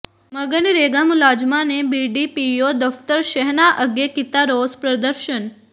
ਮਗਨਰੇਗਾ ਮੁਲਾਜ਼ਮਾਂ ਨੇ ਬੀਡੀਪੀਓ ਦਫ਼ਤਰ ਸ਼ਹਿਣਾ ਅੱਗੇ ਕੀਤਾ ਰੋਸ ਪ੍ਰਦਰਸ਼ਨ